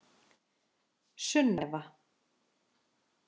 Sunneva